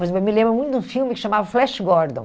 Mas eu me me lembro muito de um filme que se chamava Flash Gordon.